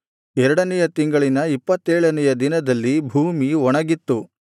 ಎರಡನೆಯ ತಿಂಗಳಿನ ಇಪ್ಪತ್ತೇಳನೆಯ ದಿನದಲ್ಲಿ ಭೂಮಿ ಒಣಗಿತ್ತು